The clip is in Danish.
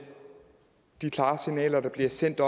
de klare signaler der bliver sendt